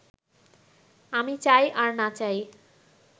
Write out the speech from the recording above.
আমি চাই আর না চাই